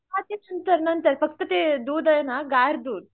हा फक्त ते दूध आहे ना गार दूध